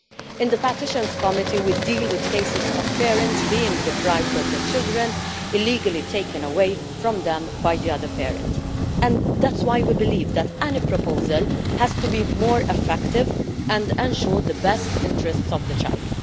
In the Committee on Petitions we deal with cases of parents being deprived of their children, illegally taken away from them by the other parent, and that is why we believe that any proposal has to be more effective and ensure the best interests of the child.